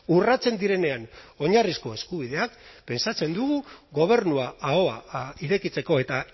urratzen direnean oinarrizko eskubideak pentsatzen dugu gobernua ahoa irekitzeko eta